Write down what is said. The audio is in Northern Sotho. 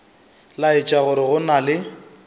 laetša gore go na le